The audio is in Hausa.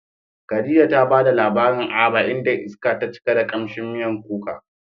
Khadija ta bada labarin Aba, inda iska ta cika da kamshin miyar kuka.